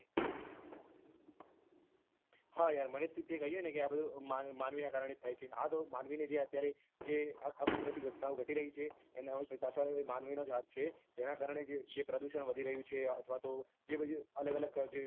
હા યાર મને તે કહ્યું ને આ બધું માનવીના કારણે થાય છે આ તો માનવીને જે અત્યારે જે આ કુદરતી ઘટનાઓ ઘટી રહી છે એના પાછળ માનવીનો જ હાથ છે એના કારણે જે પ્રદુષણ વધી રહ્યું છે અથવા તો જે બધી અલગ અલગ જે